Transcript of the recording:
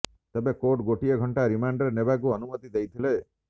ତେବେ କୋର୍ଟ ଗୋଟିଏ ଘଣ୍ଟା ରିମାଣ୍ଡରେ ନେବାକୁ ଅନୁମତି ଦେଇଥିଲେ